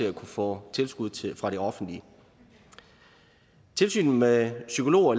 at kunne få tilskud fra det offentlige tilsynet med psykologer